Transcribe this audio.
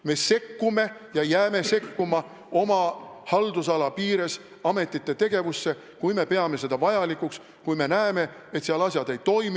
Me sekkume ja jääme oma haldusala piires sekkuma ametite tegevusse, kui peame seda vajalikuks, kui me näeme, et seal asjad ei toimi ...